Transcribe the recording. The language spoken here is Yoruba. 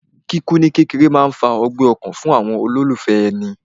Kíkú ní kékeré máa ń fa ọgbẹ́ ọkàn fún àwọn olólùfẹ́ èni